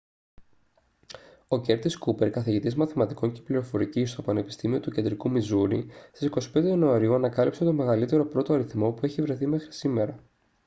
ο κέρτις κούπερ καθηγητής μαθηματικών και πληροφορικής στο πανεπιστήμιο του κεντρικού μιζούρι στις 25 ιανουαρίου ανακάλυψε τον μεγαλύτερο πρώτο αριθμό που έχει βρεθεί μέχρι σήμερα